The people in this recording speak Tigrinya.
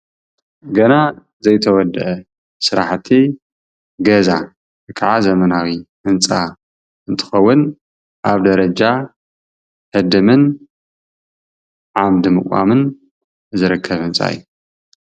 ገና ዘይተወዳአ ስራሕቲ ገዛ ወይከዓ ዘመናዊ ህንጻ እንትከውን ኣብ ደረጃ ህድምን ዓምዲ ምቋምን ዝርከብ ህንጻ እዩ::